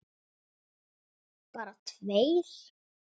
Bjarni Jó: Bara tveir?!